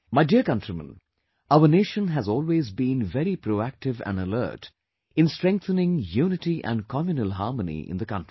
My dear countrymen, our nation has always been very proactive and alert in strengthening unity and communal harmony in the country